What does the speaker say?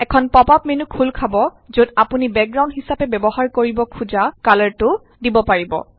এখন pop up menu খোল খাব যত আপুনি বেকগ্ৰাউণ্ড হিচাপে ব্যৱহাৰ কৰিব খোজা কালাৰটো দিব পাৰিব